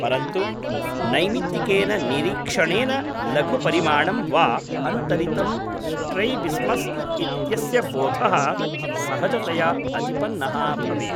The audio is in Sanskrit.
परन्तु नैमित्तिकेन निरीक्षणेन लघु परिमाणं वा अन्तरितं स्ट्रैबिस्मस् इत्यस्य बोधः सहजतया अतिपन्नः भवेत्।